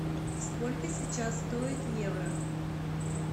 сколько сейчас стоит евро